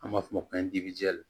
An b'a fɔ o ma ko